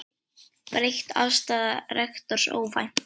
Breytt afstaða rektors óvænt